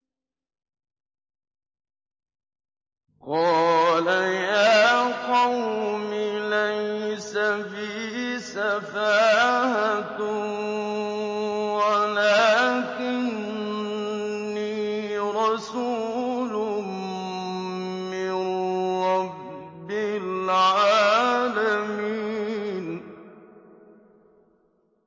قَالَ يَا قَوْمِ لَيْسَ بِي سَفَاهَةٌ وَلَٰكِنِّي رَسُولٌ مِّن رَّبِّ الْعَالَمِينَ